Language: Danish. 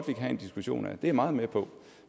have en diskussion af det er jeg meget med på